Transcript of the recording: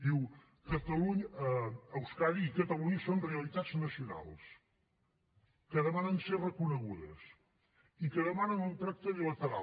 diu euskadi i catalunya són realitats nacionals que demanen ser reconegudes i que demanen un tracte bilateral